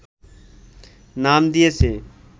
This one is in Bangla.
নাম দিয়েছে